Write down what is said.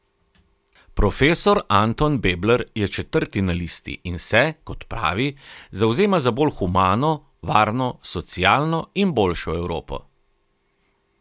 Profesor Anton Bebler je četrti na listi in se, kot pravi, zavzema za bolj humano, varno, socialno in boljšo Evropo.